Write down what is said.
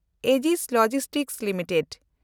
ᱮᱡᱤᱥ logistics limited